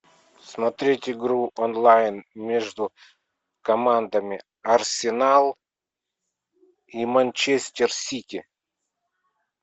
смотреть игру онлайн между командами арсенал и манчестер сити